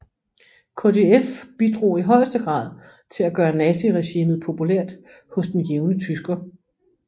KdF bidrog i højeste grad til at gøre naziregimet populært hos den jævne tysker